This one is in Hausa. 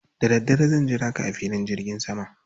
Da dare zan jira ka a filin jirgin sama.